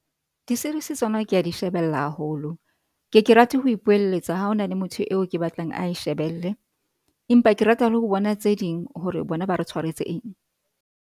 Di-series tsona ke a di shebella haholo. Ke ke rate ho ipoeletsa ha ho na le motho eo ke batlang ae shebelle empa ke rata le ho bona tse ding hore bona ba re tshwaretse eng.